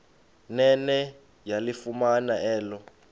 nene yalifumana elo